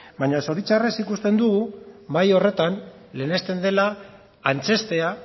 baina zoritxarrez ikusten dugu mahai horretan lehenesten dela antzeztea